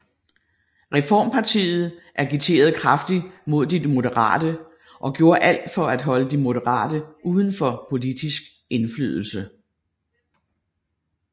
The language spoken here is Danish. Reformpartiet agiterede kraftigt mod De Moderate og gjorde alt for at holde De Moderate uden for politisk indflydelse